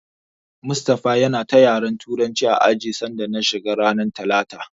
Mustapha yana ta yara Turanci a ajin sanda na shiga ranar talata.